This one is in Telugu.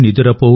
నిదురపో